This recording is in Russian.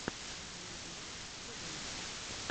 авангард тв